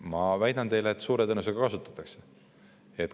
Ma väidan teile, et suure tõenäosusega kasutatakse.